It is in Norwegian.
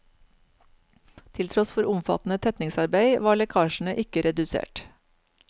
Til tross for omfattende tetningsarbeid var lekkasjene ikke redusert.